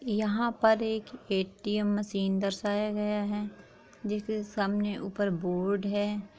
यहाँ पर एक ए_टी_एम मशीन दर्शाया गया है जिसके सामने ऊपर बोर्ड है।